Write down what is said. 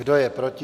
Kdo je proti?